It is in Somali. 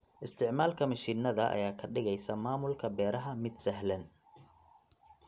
Isticmaalka mishiinada ayaa ka dhigaysa maamulka beeraha mid sahlan.